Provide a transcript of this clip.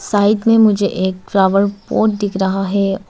side में मुझे एक फ्लावर पॉट दिख रहा है और--